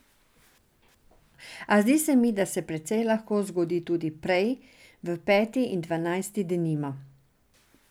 A zdi se mi, da se precej lahko zgodi tudi prej, v peti in dvanajsti denimo.